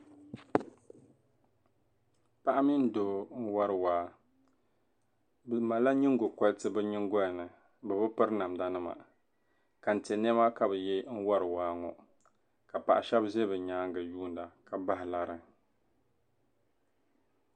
Paɣa mini doo n wari waa bɛ malila nyingɔriti bɛ nyingoli ni bɛ bi piri namdanima kante chinchina ka bɛ so ka bahi lari.